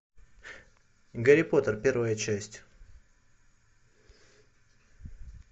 гарри поттер первая часть